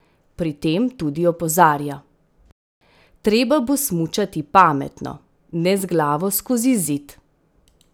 Pri tem tudi opozarja: "Treba bo smučati pametno, ne z glavo skozi zid.